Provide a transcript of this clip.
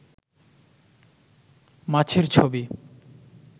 মাছের ছবি